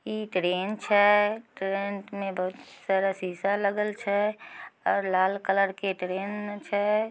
ई train छै। Train में बहुत सारा शीशा लगल छै। और लाल कलर के ट्रेन छै।